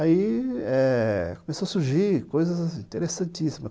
Aí, começou a surgir coisas interessantíssimas.